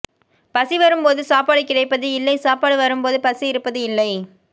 பசி வரும் போது சாப்பாடு கிடைப்பது இல்லை சாப்பாடு வரும் போது பசி இருப்பது இல்லை